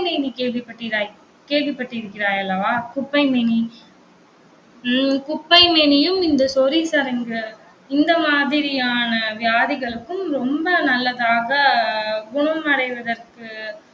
குப்பைமேனி கேள்விப்பட்டிறாய் கேள்விப்பட்டிருக்கிறாய் அல்லவா குப்பைமேனி உம் குப்பைமேனியும் இந்த சொறி சிரங்கு இந்த மாதிரியான வியாதிகளுக்கும், ரொம்ப நல்லதாக குணமடைவதற்கு